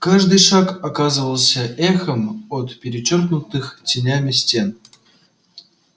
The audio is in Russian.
каждый шаг оказывался эхом от перечёркнутых тенями стен